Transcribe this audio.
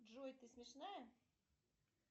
джой ты смешная